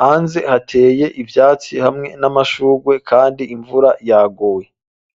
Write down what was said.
hanze hateye ivyatsi, hamwe n'amashurwe, kandi imvura yaguye.